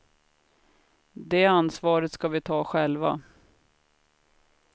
Det ansvaret ska vi ta själva.